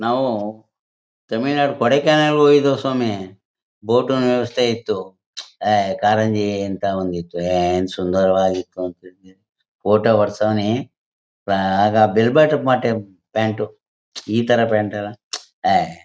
ನಾವು ತಮಿಳ್ ನಾಡು ಕೋಡಿಕೆನಾಲ್ಗೆ ಹೋಗಿದ್ವಿ ಸ್ವಾಮಿ ಫೋಟೋನೂ ಇಲ್ಸ್ಟಾಯಿತು ಏಯ್ ಕಾರಂಜಿ ಅಂತ ಒಂದು ಇತ್ತು ಏನ್ ಸುಂದರವಾಗಿತ್ತು ಫೋಟೋ ಓಡ್ಸವನೇ ಅಹ್ ಅಹ್ ಆಗ ಬೆಲ್ ಬಾಟಮ್ ಪ್ಯಾಂಟು ಇತರ ಪ್ಯಾಂಟ್ ಅಲ್ಲ.